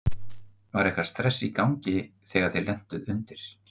Var eitthvað stress í gangi þegar þið lentuð undir?